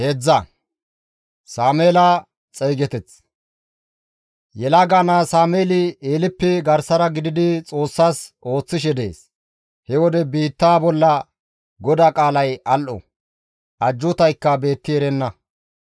Yelaga naa Sameeli Eeleppe garsara gididi Xoossas ooththishe dees; he wode biittaa bolla GODAA qaalay al7o; ajjuutaykka beetti erenna.